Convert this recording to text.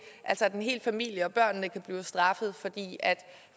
altså at en hel familie og børnene kan blive straffet fordi